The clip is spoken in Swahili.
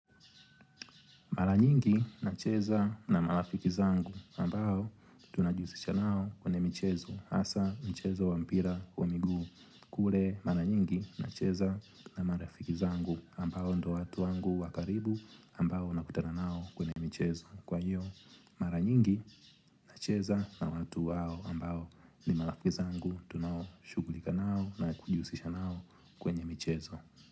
Maranyingi nacheza na marafiki zangu ambao tunajusisha nao kwenye michezo. Asa, michezo wa mpira wa miguu. Kule mara nyingi nacheza na marafiki zangu ambao ndo watu wangu wakaribu ambao nakutana nao kwenye michezo. Kwa hiyo, maranyingi nacheza na watu wao ambao ni marafiki zangu tunaoshugulika nao na kujusisha nao kwenye michezo.